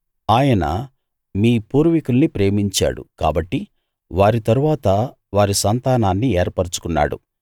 ఆయన మీ పూర్వీకుల్ని ప్రేమించాడు కాబట్టి వారి తరువాత వారి సంతానాన్ని ఏర్పరచుకున్నాడు